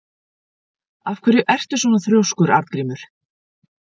Af hverju ertu svona þrjóskur, Arngrímur?